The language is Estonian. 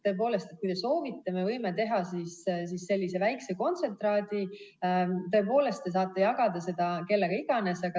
Tõepoolest, kui te soovite, me võime teha sellise väikese kontsentraadi ja te saate jagada seda kellega iganes.